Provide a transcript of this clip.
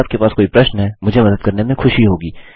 यदि आपके पास कोई प्रश्न है मुझे मदद करने में खुशी होगी